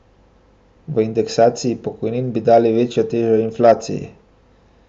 V indeksaciji pokojnin bi dali večjo težo inflaciji.